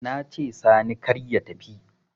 Nace sani kar ya tafi